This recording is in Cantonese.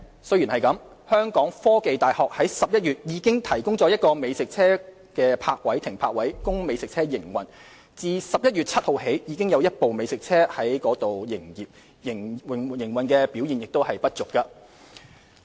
雖然如此，香港科技大學在11月已提供一個美食車停泊位供美食車營運，自11月7日起已有一部美食車在該處營業，營運表現不俗。